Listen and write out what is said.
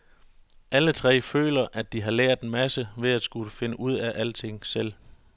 Alle tre føler, at de har lært en masse ved at skulle finde ud af alting selv.